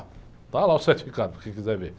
Está lá o certificado, para quem quiser ver.